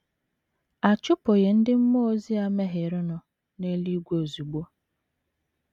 A chụpụghị ndị mmụọ ozi a mehierenụ n’eluigwe ozugbo.